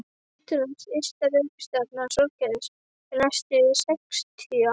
Neptúnus ysta reikistjarna sólkerfisins næstu sextíu árin.